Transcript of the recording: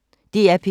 DR P1